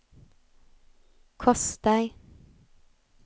kostar